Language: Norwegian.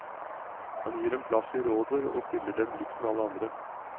Han gir dem plass i rådet og stiller dem likt med alle andre.